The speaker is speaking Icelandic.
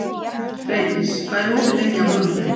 Freydís, hvað er opið lengi á mánudaginn?